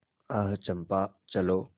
आह चंपा चलो